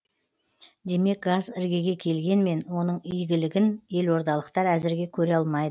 демек газ іргеге келгенмен оның игілігін елордалықтар әзірге көре алмайды